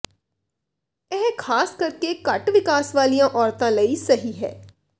ਇਹ ਖਾਸ ਕਰਕੇ ਘੱਟ ਵਿਕਾਸ ਵਾਲੀਆਂ ਔਰਤਾਂ ਲਈ ਸਹੀ ਹੈ